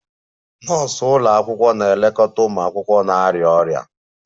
Nọọsụ ụlọ akwụkwọ na-elekọta ụmụ akwụkwọ na-arịa ọrịa